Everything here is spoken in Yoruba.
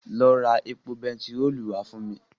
Lọ ra epo bentiróòlù wá fún mi.